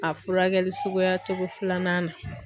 A furakɛli suguya cogo filanan na